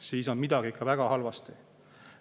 Midagi on ikka väga halvasti.